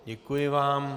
Děkuji vám.